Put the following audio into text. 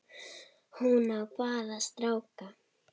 Hún á bara stráka.